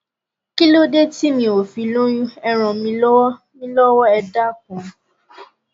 kílódé tí mi ò fi lóyún ẹ ràn mí lọ́wọ́ mí lọ́wọ́ ẹ dákun